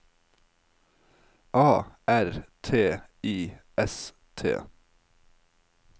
A R T I S T